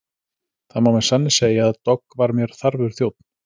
Það má með sanni segja að Dogg var mér þarfur þjónn.